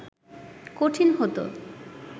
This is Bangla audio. কঠিন হত